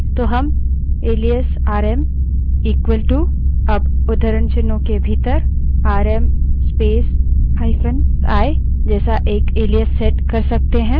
तो rm alias RM equalto अब उद्धरणचिन्हों के भीतर आरएम space –i जैसा एक एलाइस set कर सकते हैं